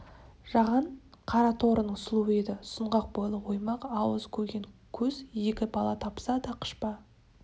жаған қара торының сұлуы еді сұңғақ бойлы оймақ ауыз көген көз екі бала тапса да қыпша